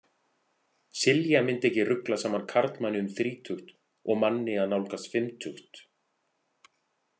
Silja myndi ekki rugla saman karlmanni um þrítugt og manni að nálgast fimmtugt.